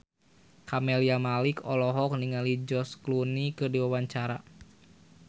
Camelia Malik olohok ningali George Clooney keur diwawancara